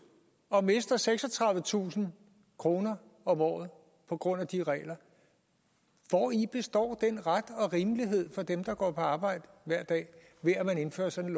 og mister seksogtredivetusind kroner om året på grund af de regler hvori består den ret og rimelighed for dem der går på arbejde hver dag ved at man indfører sådan